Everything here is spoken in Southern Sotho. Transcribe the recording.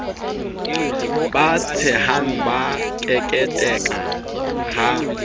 ba tshehang ba keketeka ha